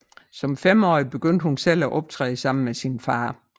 Som femårig begyndte hun at selv at optræde med sin far